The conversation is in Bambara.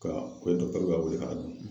Ka ba wele ka don.